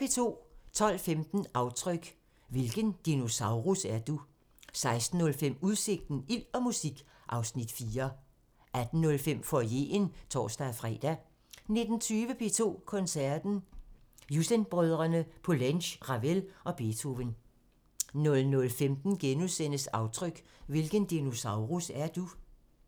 12:15: Aftryk – Hvilken dinosaurus er du? 16:05: Udsigten – Ild og musik (Afs. 4) 18:05: Foyeren (tor-fre) 19:20: P2 Koncerten – Jussen-brødrene, Poulenc, Ravel og Beethoven 00:15: Aftryk – Hvilken dinosaurus er du? *